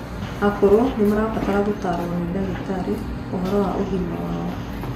Akũrũ nimarabatara gũtarwo ni ndagĩtarĩ ũhoro wa ũgima wao